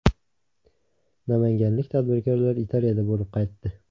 Namanganlik tadbirkorlar Italiyada bo‘lib qaytdi.